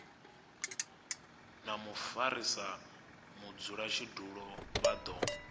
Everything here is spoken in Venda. na mufarisa mudzulatshidulo vha do